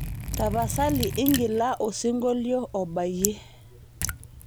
tapasali ingila osingolio obayie